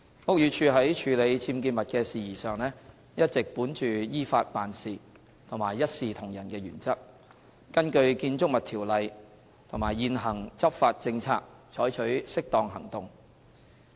屋宇署在處理僭建物的事宜上，一直本着依法辦事和一視同仁的原則，根據《建築物條例》和現行執法政策採取適當行動。